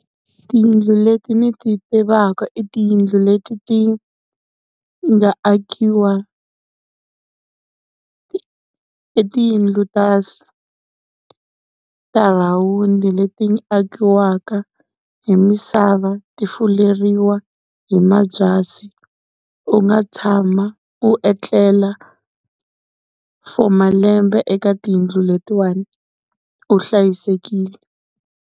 Tiyindlu leti ni ti tivaka i tiyindlu leti ti nga akiwa, i tiyindlu ta rhawundi leti akiwaka hi misava ti fuleriwa hi mabyasi, u nga tshama u etlela for malembe eka tiyindlu letiwani u hlayisekile.